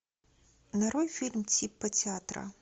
нарой фильм типа театра